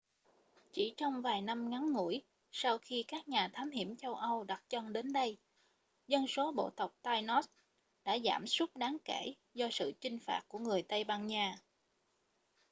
chỉ trong vài năm ngắn ngủi sau khi các nhà thám hiểm châu âu đặt chân đến đây dân số bộ tộc tainos đã giảm sút đáng kể do sự chinh phạt của người tây ban nha